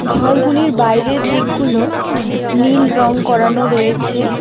ঘরগুলির বাইরের দিকগুলো নীল রং করানো রয়েছে।